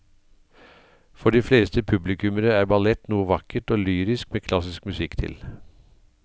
For de fleste publikummere er ballett noe vakkert og lyrisk med klassisk musikk til.